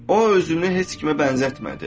O özünü heç kimə bənzətmədi.